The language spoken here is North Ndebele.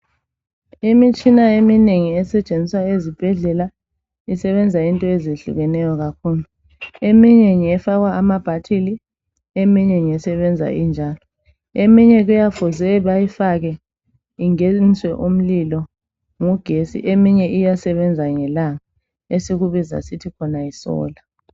Imitshina eminengi esetshenziswa ezibhedlela isebenza into ezehlukeneyo kakhulu. Eminye isebenzisa amabhathili eminye kuyaabe kuyafuze bayifake ingeniswe umlilo ngugetsi, eminye iyasebenza ngelanga esikubiza sithi yisolar